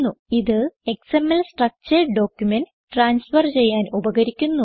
ഇത് XML structured documents transfer ചെയ്യാൻ ഉപകരിക്കുന്നു